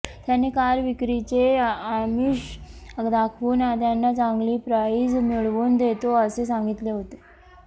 त्याने कार विक्रीचे आमिष दाखवून त्यांना चांगली प्राईज मिळवून देतो असे सांगितले होते